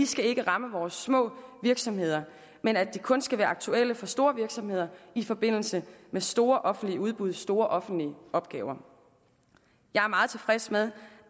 skal ramme vores små virksomheder men at de kun skal være aktuelle for store virksomheder i forbindelse med store offentlige udbud store offentlige opgaver jeg er meget tilfreds med